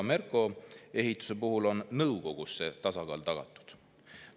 Merko Ehituse puhul on nõukogus see tasakaal tagatud.